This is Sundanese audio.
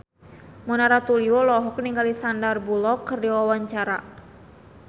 Mona Ratuliu olohok ningali Sandar Bullock keur diwawancara